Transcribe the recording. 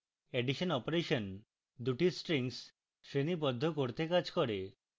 addition operation দুটি strings শ্রেণীবদ্ধ করতে কাজ করে